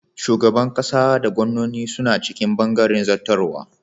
Shugaban ƙasa da gwannoni suna cikin bangaren zattarwa.